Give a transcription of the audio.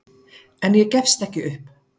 En ég gefst ekki upp.